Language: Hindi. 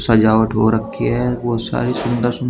सजावट हो रखी है बहुत सारी सुंदर सुंदर।